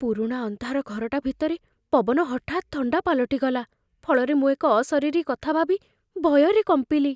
ପୁରୁଣା ଅନ୍ଧାର ଘରଟା ଭିତରେ ପବନ ହଠାତ୍ ଥଣ୍ଡା ପାଲଟିଗଲା, ଫଳରେ ମୁଁ ଏକ ଅଶରୀରୀ କଥା ଭାବି ଭୟରେ କମ୍ପିଲି।